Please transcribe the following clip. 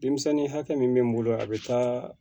Denmisɛnnin hakɛ min bɛ n bolo a bɛ taa